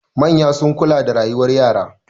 Manya sun kula da rayuwar yara.